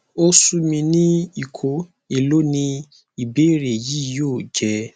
o sumi ni iko elo ni ibeere yii yoo jẹ